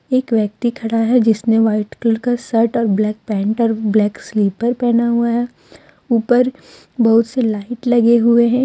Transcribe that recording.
एक व्यक्ति खड़ा है जिसने व्हाइट कलर का शर्ट और ब्लैक पैंट और ब्लैक स्लीपर पहना हुआ है ऊपर बहुत से लाइट लगे हुए हैं।